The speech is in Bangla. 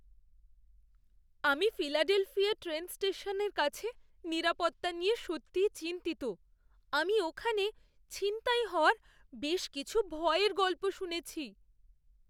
আমি ফিলাডেলফিয়া ট্রেন স্টেশনের কাছে নিরাপত্তা নিয়ে সত্যিই চিন্তিত; আমি ওখানে ছিনতাই হওয়ার বেশ কিছু ভয়ের গল্প শুনেছি।